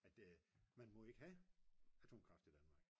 at man må ikke have atomkraft i Danmark